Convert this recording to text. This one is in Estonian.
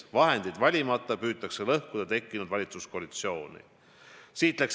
Vahendeid valimata püütakse lõhkuda tekkinud valitsuskoalitsiooni.